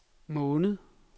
måned